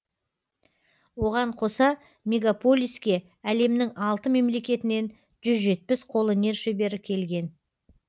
оған қоса мегаполиске әлемнің алты мемлекетінен жүз жетпіс қолөнер шебері келген